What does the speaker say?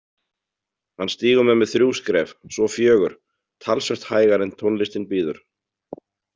Hann stígur með mig þrjú skref, svo fjögur, talsvert hægar en tónlistin býður.